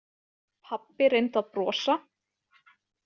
Pabbi reyndi að brosa.